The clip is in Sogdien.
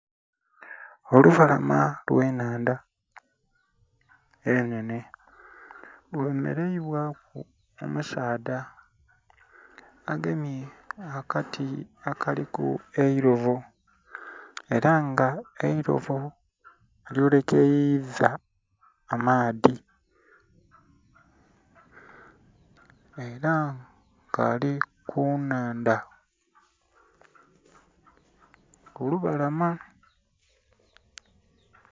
Olubalama lwe nnhandha enhenhe, lwemeleibwaku omusaddha agemye akati akaliku eilobo, ela nga eilobo alyolekeiza amaadhi ela nga ali ku nnhandha kulubalama.